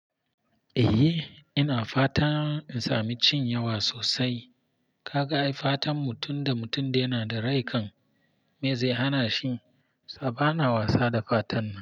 Eh ina fatan in sami cin yawa sosai. Ka ga ai fatan mutum da mutum yana da rai kan me zai hana shi. Sa ba na wasa da fatan ba.